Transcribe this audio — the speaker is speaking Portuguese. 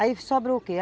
Aí sobra o quê?